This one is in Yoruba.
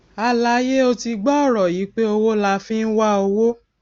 àlàyé ó ti gbọ ọrọ yìí pé owó la fi ń wá owó